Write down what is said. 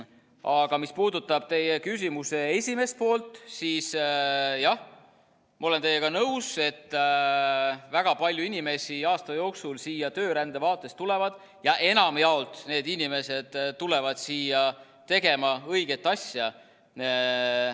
Aga mis puudutab teie küsimuse esimest poolt, siis jah, ma olen teiega nõus, et väga palju inimesi aasta jooksul siia töörände raames tulevad, ja enamjaolt need inimesed tulevad siia tegema õiget asja.